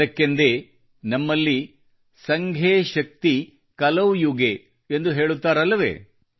ಅದಕ್ಕೆಂದೇ ನಮ್ಮಲ್ಲಿ ಸಂಘೆ ಶಕ್ತಿ ಕಲೌ ಯುಗೆ ಎಂದು ಹೇಳುತ್ತಾರಲ್ಲವೇ